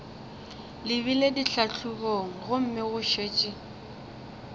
lebile ditlhahlobong gomme go šetše